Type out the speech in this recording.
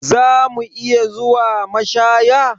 Za mu iya zuwa mashaya?